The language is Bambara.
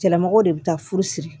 Cɛlaw de bɛ taa furu siri